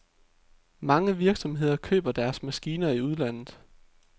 Mange virksomheder køber deres maskiner i udlandet.